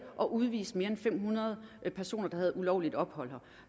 og udvist mere end fem hundrede personer der havde ulovligt ophold her